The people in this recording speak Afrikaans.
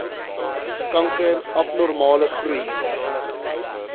kanker abnormale groei